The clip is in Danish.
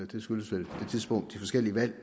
det skyldes vel det tidspunkt de forskellige valg